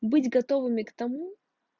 быть готовыми к тому